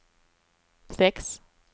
sex